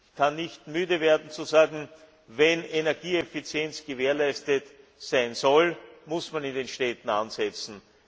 Ich kann nicht müde werden zu sagen, wenn Energieeffizienz gewährleistet sein soll, muss man in den Städten ansetzen.